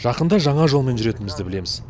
жақында жаңа жолмен жүретінімізді білеміз